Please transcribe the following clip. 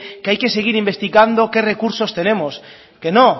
que hay que seguir investigando qué recursos tenemos que no